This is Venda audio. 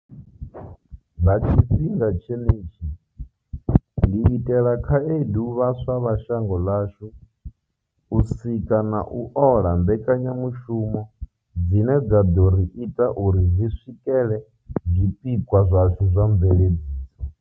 Nga tshifhinga tshenetshi, ndi itela khaedu vhaswa vha shango ḽashu u sika na u ola mbekanyamushumo dzine dza ḓo ri ita uri ri swikele zwipikwa zwashu zwa mveledziso.